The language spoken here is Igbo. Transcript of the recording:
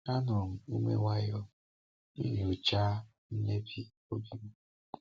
Anụrụ m ume nwayọọ, nyochaa mmebi n’obi m.